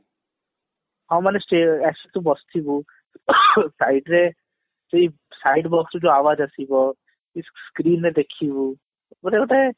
ହଁ ମାନେ ଷ୍ଟେ ଆରେ ସେଠି ବସିବୁ site ରେ seat side box ରୁ ଆବାଜ ଆସିବ screen ରେ ଦେଖିବୁ ମାନେ ଗୋଟେ